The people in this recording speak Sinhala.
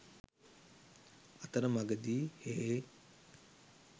අතර මඟදී හේ